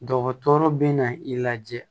Dɔgɔtɔrɔ bɛ na i lajɛ